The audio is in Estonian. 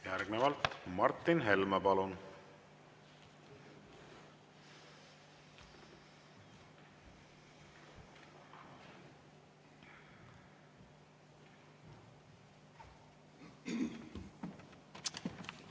Järgnevalt Martin Helme, palun!